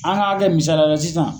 An k'a kɛ misaliyala sisan.